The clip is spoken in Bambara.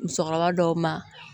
Musokɔrɔba dɔw ma